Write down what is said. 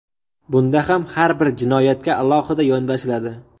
Bunda ham har bir jinoyatga alohida yondashiladi.